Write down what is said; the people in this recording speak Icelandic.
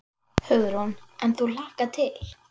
Hugrún: En þú hlakkar til?